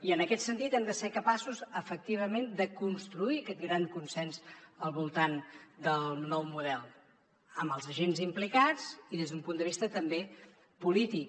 i en aquest sentit hem de ser capaços efectivament de construir aquest gran consens al voltant del nou model amb els agents implicats i des d’un punt de vista també polític